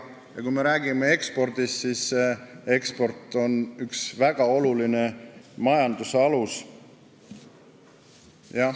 Ning kui me räägime ekspordist, siis eksport on üks väga oluline majanduse alus.